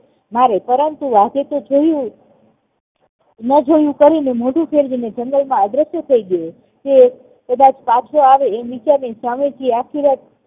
મારે પરંતુ વાઘે જોયું ન જોયું કરીને મોઢું ફેરવીને જંગલ માં અદ્રશ્ય થઇ ગયો તે કદાચ પાછો આવે તેમ વીચારીને સ્વામીજી આખી રાત